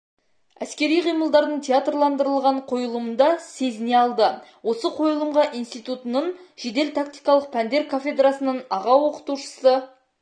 әскери қимылдардың театрландырылған қойылымында сезіне алды осы қойылымға институтытың жедел тактикалық пәндер кафедрасының аға оқытушысы